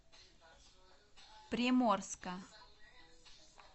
приморска